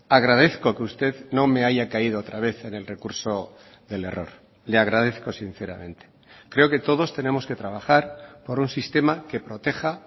agradezco que usted no me haya caído otra vez en el recurso del error le agradezco sinceramente creo que todos tenemos que trabajar por un sistema que proteja